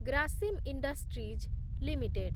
Grasim industries limited